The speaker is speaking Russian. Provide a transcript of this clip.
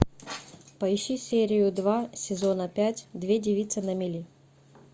поищи серию два сезона пять две девицы на мели